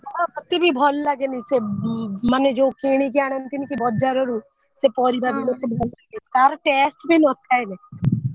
ହଁ ମତେ ବି ଭଲ ଲାଗେନି ସେ ମାନେ ଯୋଉ କିଣିକି ଆଣନ୍ତିନି କି ବଜାର ରୁ ସେ ପରିବା ବି ମୋତେ ଭଲ ଲାଗେନି ତାର taste ବି ନଥାଏ ରେ।